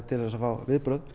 til að fá viðbrögð